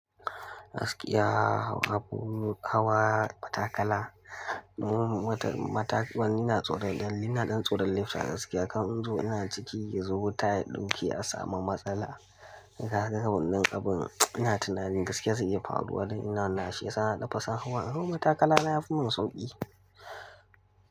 Gaskiya, habu, hawa, matakala. Wani na tsorata, dalili ina ɗan tsoron lifta gaskiya. Kan in zo ina ciki ya zo wuta ya ɗauke a samu matsala. Kaga wannan abin ina tunanin gaskiya zai iya faruwa dan ina na shi ya sa na nafi son hawa. In hau matakala na yafi min sauƙi.